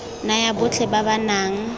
naya botlhe ba ba nang